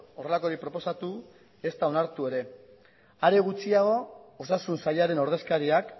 horrelakorik proposatu ezta onartu ere amaitu mesedez are gutxiago osasun sailaren ordezkariak